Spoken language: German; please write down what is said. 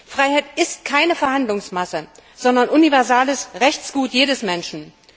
Freiheit ist keine Verhandlungsmasse, sondern universales Rechtsgut jedes Menschen.